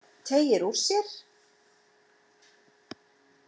Teygir úr sér.